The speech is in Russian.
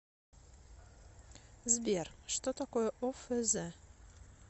сбер что такое офз